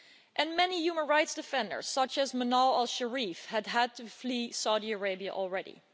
And many human rights defenders such as Manal al Sharif have had to flee Saudi Arabia already.